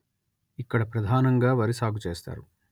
ఇక్కడ ప్రధానంగా వరి సాగు చేస్తారు